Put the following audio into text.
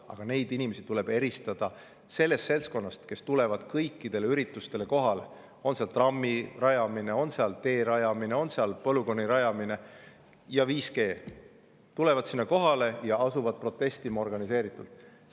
Aga neid inimesi tuleb eristada sellest seltskonnast, kes tuleb kõikidele üritustele kohale – on see trammi rajamine, on see tee rajamine, on see polügooni rajamine või 5G – ja asub organiseeritult protestima.